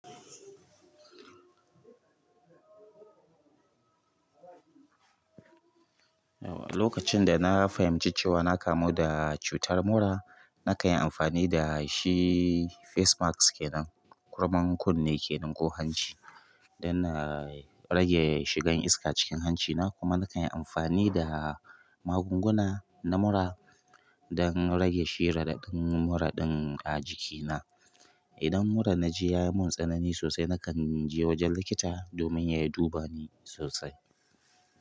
Lokacin da na fahimci cewa na kamu da cutar mura, na kan yi amfani da shi face masks ke nan, kurman kunne ke nan ko hanci, don na rage shigan iska cikin hancina. Kuma na kan yi amfani da magunguna na mura don rage shi raɗaɗin mura ɗin a jikina. Idan mura na ji ya mun tsanani sosai, na kan je wajen likita domin ya duba ni sosai.